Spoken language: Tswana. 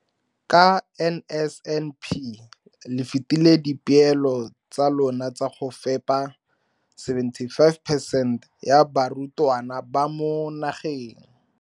ka NSNP le fetile dipeelo tsa lona tsa go fepa 75 percent ya barutwana ba mo nageng.